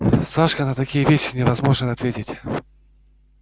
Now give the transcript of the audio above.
сашка на такие вещи невозможно ответить